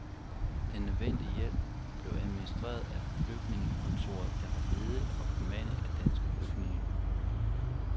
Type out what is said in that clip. Den nødvendige hjælp blev administreret af flygtningekontoret, der var ledet og bemandet af danske flygtninge.